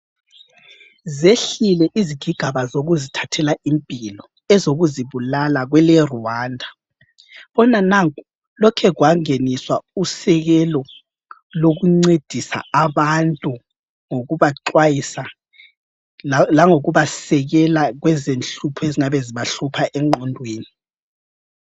Zehlile izigigaba zokuzithathela impilo ezokuzibulala kweleRwanda. Khona nanku lokhe kwangeniswa usekelo lokuncedisa abantu ngokubaxwayisa langokubasekela kwezenhlupho ezingabe zibahlupha engwondweni.